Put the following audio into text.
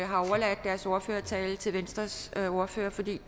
har overladt deres ordførertale til venstres ordfører for det